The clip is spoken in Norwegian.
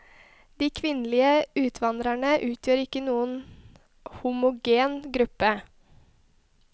De kvinnelige utvandrerne utgjør ikke noen homogen gruppe.